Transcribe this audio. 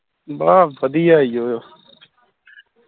ਬੜਾ ਵਧੀਆ ਜੋ